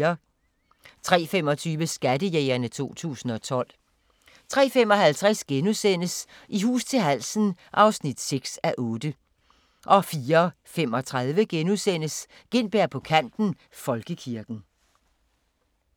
03:25: Skattejægerne 2012 03:55: I hus til halsen (6:8)* 04:35: Gintberg på kanten - Folkekirken *